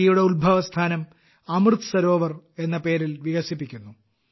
നദിയുടെ ഉത്ഭവസ്ഥാനം അമൃത് സരോവർ എന്ന പേരിൽ വികസിപ്പിക്കുന്നു